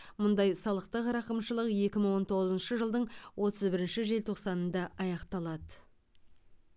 мұндай салықтық рақымшылық екі мың он тоғызыншы жылдың отыз бірінші желтоқсанында аяқталады